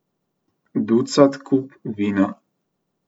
Ducat kup vina.